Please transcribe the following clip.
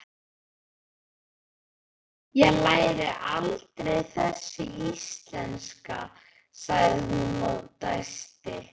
Ég læri aldrei þessi íslenska, sagði hún og dæsti.